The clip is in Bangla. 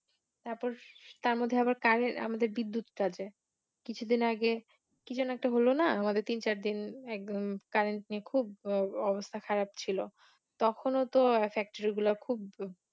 তারপর তার মধ্যে আবার কারের আমাদের বিদ্যুৎটা আছে কিছুদিন আগে কি যেনো একটা হল না আমাদের তিন চার দিন একদম Current নিয়ে খুব অবস্থা খারাপ ছিলো তখনও তো factory গুলা খুব